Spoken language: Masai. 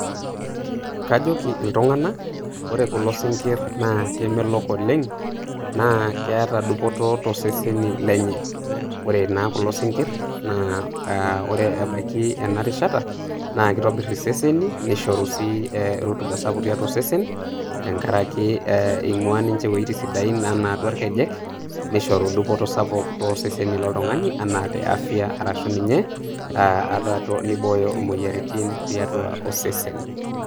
Kajoki itung'anak ore kulo sinkirr na kemelok oleng', na keeta dupoto toseseni lenye. Ore naa kulo sinkirr na ah Ore ebaiki enarishata na kitobir iseseni nishoru sii rotuba sapuk tiatua osesen tenkaraki eh ing'ua ninche iwuejitin sidain enaa atua irkejek, nishoru dupoto sapuk tosesen loltung'ani enaa te afya arashu ninye ah ata nibooyo imoyiaritin tiatua osesen.